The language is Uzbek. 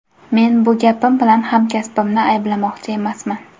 Men bu gapim bilan hamkasbimni ayblamoqchi emasman.